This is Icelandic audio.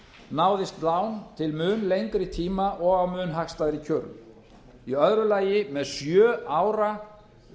náðist lán til mun lengri tíma og á mun hagstæðari kjörum í öðru lagi með sjö ára